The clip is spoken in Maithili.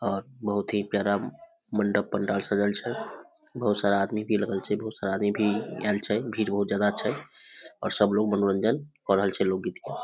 और बहुत ही प्यारा मंडप पंडाल सजल छै बहुत सारा आदमी भी लगल छै बहुत सारा आदमी भी आयल छै भीड़ बहुत ज्यादा छै और सब लोग मनोरंजन क रहल छै लोकगीत के।